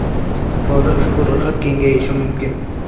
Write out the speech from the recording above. Istiqbolda ushbu ro‘yxat kengayishi mumkin.